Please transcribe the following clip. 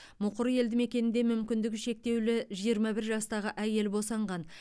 мұқыр елдімекенінде мүмкіндігі шектеулі жиырма бір жастағы әйел босанған